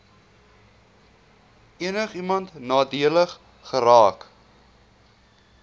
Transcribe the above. enigiemand nadelig geraak